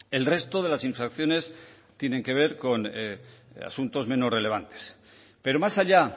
el resto de las infracciones tienen que ver con asuntos menos relevantes pero más allá